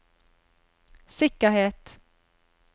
sikkerhet